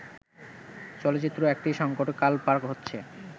চলচ্চিত্র একটি সংকটকাল পার হচ্ছে